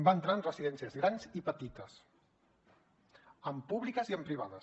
va entrar en residències grans i petites en públiques i en privades